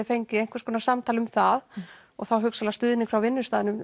fengið einhvers konar samtal um það og þá hugsanlega stuðning frá vinnustaðnum